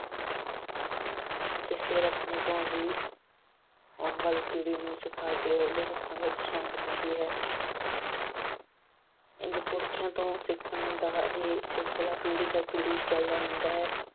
ਅਤੇ ਫਿਰ ਆਪਣੇ ਲਈ ਆਉਣ ਵਾਲੀ ਪੀੜ੍ਹੀ ਨੂੰ ਸਿਖਾ ਕੇ ਉਹਦੇ ਹੱਥਾਂ ਵਿੱਚ ਸੌਂਪ ਦਿੰਦੀ ਹੈ। ਇੰਝ ਪੁਰਖਿਆਂ ਤੋਂ ਸਿੱਖਣ ਦਾ ਸਿਲਸਿਲਾ ਪੀੜ੍ਹੀ ਦਰ ਪੀੜ੍ਹੀ ਚਲਦਾ ਰਹਿੰਦਾ ਹੈ।